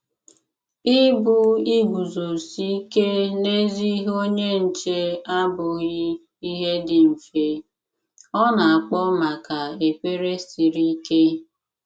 Ịbụ iguzosi ike n'ezi ihe - onye nche abụghị ihe dị mfe; ọ na-akpọ maka ekpere siri ike.